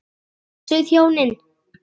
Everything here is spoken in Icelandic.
Blessuð hjónin.